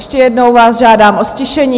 Ještě jednou vás žádám o ztišení.